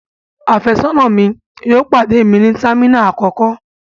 Àfẹ́sọ́nà mi yóò pàdé mi ní terminal àkọ́kọ́.